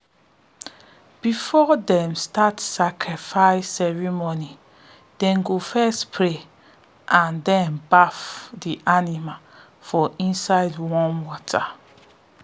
before them start sacrifice ceremony them go first pray and then baff the animal for inside warm water.